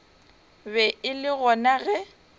be e le gona ge